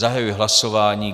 Zahajuji hlasování.